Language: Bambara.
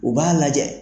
U b'a lajɛ